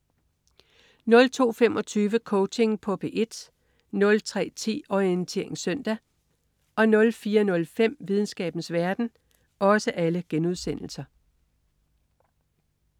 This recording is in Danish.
02.25 Coaching på P1* 03.10 Orientering søndag* 04.05 Videnskabens verden*